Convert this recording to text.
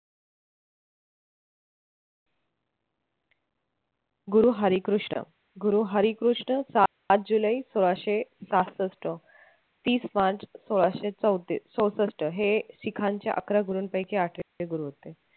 गुरु हरिकृष्ण गुरु हरिकृष्ण सात जुलै सोळाशे सहासष्ट तीस मार्च सोळाशे चौतीस चौसष्ट हे शिखांचे अकरा गुरूंपैकी आठवे गुरु होते.